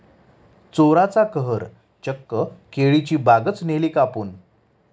चोराचा कहर, चक्क केळीची बागच नेली कापून!